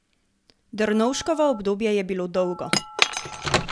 Drnovškovo obdobje je bilo dolgo.